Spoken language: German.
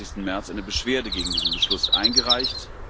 27. März eine Beschwerde gegen diesen Beschluss eingereicht.